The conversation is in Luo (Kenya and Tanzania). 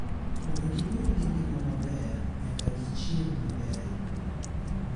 Mondo gibed gi ngima maber, nyaka gichiem maber.